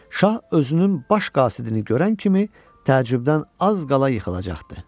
Şah özünün baş qasidini görən kimi təəccübdən az qala yıxılacaqdı.